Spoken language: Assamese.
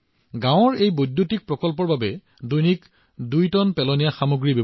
গাওঁখনৰ এই শক্তি প্ৰকল্পটোৰ ক্ষমতা হৈছে প্ৰতিদিনে দুই টন আৱৰ্জনা নিষ্কাশন কৰা